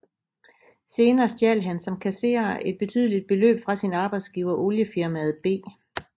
Senere stjal han som kasserer et betydeligt beløb fra sin arbejdsgiver oliefirmaet B